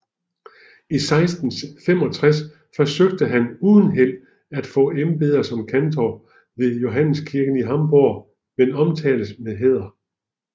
I 1665 forsøgte han uden held at få embedet som kantor ved Johanneskirken i Hamburg men omtales med hæder